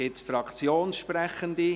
Gibt es weitere Fraktionssprechende?